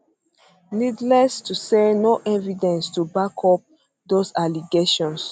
needless needless to say no evidence to back up dose allegations